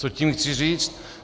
Co tím chci říct?